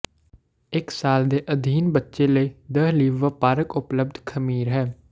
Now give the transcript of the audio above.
ਇੱਕ ਸਾਲ ਦੇ ਅਧੀਨ ਬੱਚੇ ਲਈ ਦਹ ਲਈ ਵਪਾਰਕ ਉਪਲੱਬਧ ਖਮੀਰ ਹਨ